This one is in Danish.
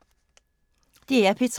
DR P3